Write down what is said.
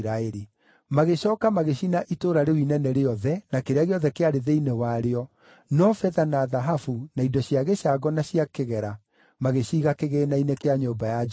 Magĩcooka magĩcina itũũra rĩu inene rĩothe, na kĩrĩa gĩothe kĩarĩ thĩinĩ warĩo, no betha na thahabu, na indo cia gĩcango na cia kĩgera, magĩciiga kĩgĩĩna-inĩ kĩa nyũmba ya Jehova.